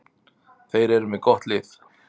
Þeir eru með gott lið.